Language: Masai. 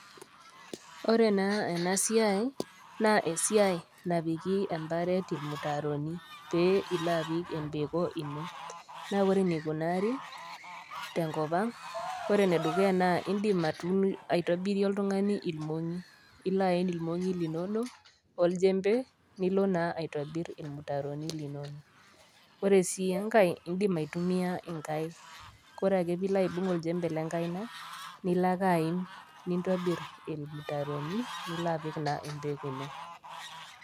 Ore naa ena siai, naa esiai napiki emparet ilmutaaroni pee ilo apik empeko ino, naa ore eneikunaari, tenkop ang' ore ene dukuya naa indim aitobirie oltung'ani ilmong'i, ilo aen ilmong'i linono, olchembe, nilo naa aitobir ilmutaaroni linono. Ore sii enkai, indim aitumiya inkaik, kore ake pe ilo aibung' olchembe le enkaina nilo ake aim nintobir ilmutaaroni nilo aapik naa empeko ino.